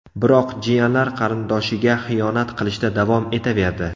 Biroq jiyanlar qarindoshiga xiyonat qilishda davom etaverdi.